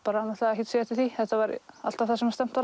náttúrulega ekkert séð eftir því þetta var alltaf það sem stefnt var